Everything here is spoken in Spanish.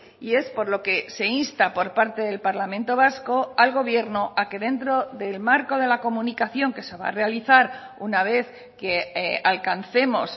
y es por lo que se insta por parte del parlamento vasco al gobierno a que dentro del marco de la comunicación que se va a realizar una vez que alcancemos